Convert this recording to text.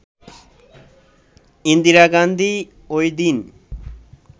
ইন্দিরা গান্ধী ওইদিন